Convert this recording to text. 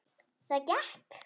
Það gekk.